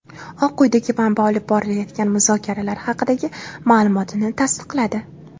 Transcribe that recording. Oq uydagi manba olib borilayotgan muzokaralar haqidagi ma’lumotni tasdiqladi.